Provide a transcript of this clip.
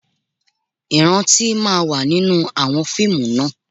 Ìrántí máa wà nínú àwọn fíìmù náà